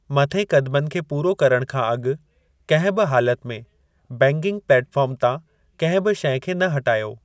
मथें क़दमनि खे पूरो करण खां अॻु कंहिं बि हालति में बैगिंग प्लेटफॉर्म तां कंहिं बि शइ खे न हटायो।